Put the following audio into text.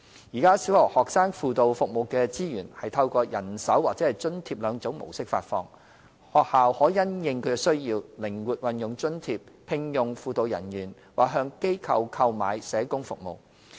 現時小學學生輔導服務的資源，是透過人手或津貼兩種模式發放，學校可因應需要，靈活運用津貼，聘用輔導人員或向機構購買社工服務。